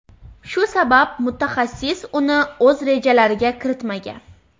shu sabab mutaxassis uni o‘z rejalariga kiritmagan.